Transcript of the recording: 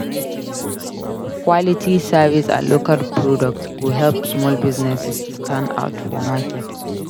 Quality service and local products go help small businesses stand out for market.